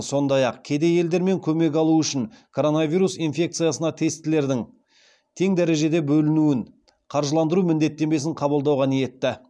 сондай ақ кедей елдер де көмек алуы үшін коронавирус инфекциясына тестілердің тең дәрежеде бөлінуін қаржыландыру міндеттемесін қабылдауға ниетті